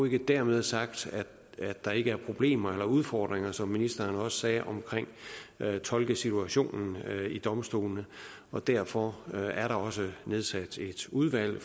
ikke dermed sagt at der ikke er problemer eller udfordringer som ministeren også sagde med tolkesituationen i domstolene derfor er der også nedsat et udvalg